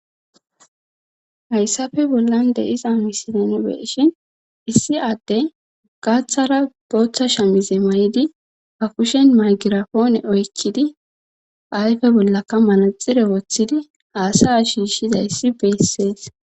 Hayssafe bollan de iza misilen beeshin issi adde gaaththara booththa sha mize may7idi ha kushen magirafoone oykkidi ayfe bollaka manaxire woththidi haasaya shiishizayssi beessees.